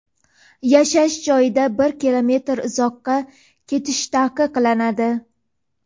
Yashash joyidan bir kilometr uzoqqa ketish taqiqlanadi.